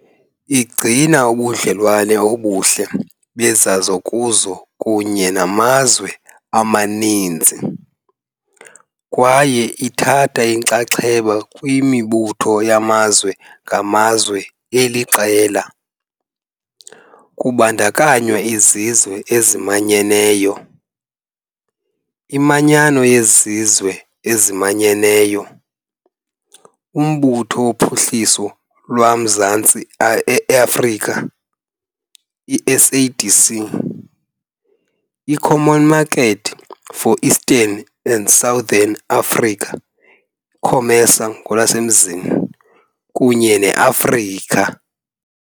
Igcina ubudlelwane obuhle bezozakuzo kunye namazwe amaninzi, kwaye ithatha inxaxheba kwimibutho yamazwe ngamazwe eliqela, kubandakanywa iZizwe eziManyeneyo, iManyano yeZizwe eziManyeneyo, uMbutho woPhuhliso lwaMazantsi e-Afrika i-SADC, i- Common Market for Eastern and Southern Africa COMESA ngolwasemzini, kunye ne- Afrika.